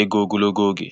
ego ogologo oge.